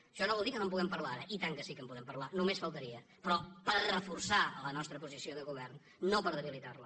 això no vol dir que no en puguem parlar ara i tant que sí que en podem parlar només faltaria però per reforçar la nostra posició de govern no per debilitar la